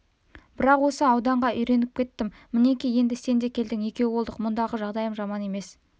бірақ осы ауданға үйреніп кеттім мінекей енді сен де келдің екеу болдық мұндағы жағдайым жаман емес